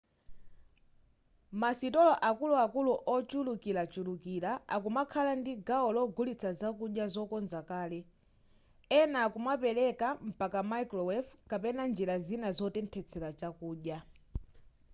masitolo akuluakulu ochulukirachulukira akumakhala ndi gawo logulitsa zakudya zokonza kale ena akumapereka mpaka microwave kapena njira zina zotenthesera zakudya